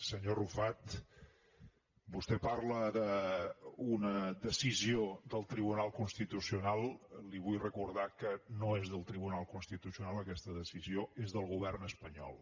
senyor arrufat vostè parla d’una decisió del tribunal constitucional li vull recordar que no és del tribunal constitucional aquesta decisió és del govern espanyol